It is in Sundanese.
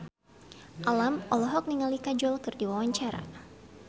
Alam olohok ningali Kajol keur diwawancara